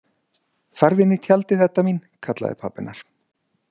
Farðu inn í tjaldið, Edda mín, kallaði pabbi hennar.